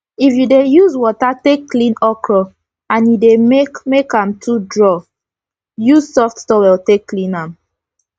if u dey use wata take clean okro and e dey make make am too draw use soft towel take clean am